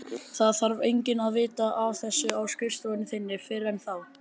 Það þarf enginn að vita af þessu á skrifstofu þinni fyrr en þá.